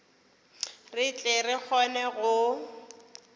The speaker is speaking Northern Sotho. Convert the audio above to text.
re tle re kgone go